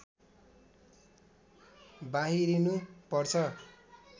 बाहिरिनु पर्छ